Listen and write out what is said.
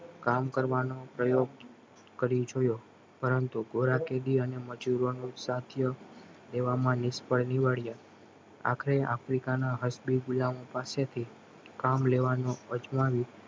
કામ કરવાનો પ્રયોગ કરી જોયો પરંતુ ગોરા કેદી અને મજૂરોનો સાધ્યો તેવામાં નિષ્ફળ નીવાડીયા આખરે આફ્રિકાના હસ્બી ગુલામો પાસે કામ લેવાનો અજમાવ્યો